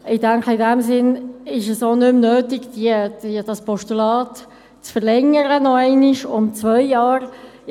Ich denke, in diesem Sinn ist es auch nicht mehr nötig, das Postulat () noch einmal um zwei Jahre zu verlängern.